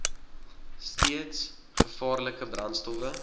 steeds gevaarlike brandstowwe